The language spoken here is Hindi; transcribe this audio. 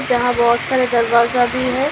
यहां बहुत सारा दरवाजा भी है।